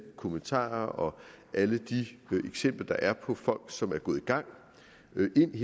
kommentarerne og alle de eksempler der er på folk som er gået i gang med ind